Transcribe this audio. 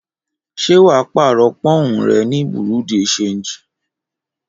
Ṣé wà á pààrọ̀ pọ́ùn rẹ ní bureau de change?